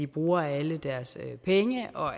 bruger alle deres penge og